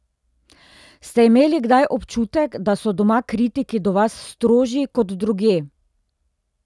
Ste imeli kdaj občutek, da so doma kritiki do vas strožji kot drugje?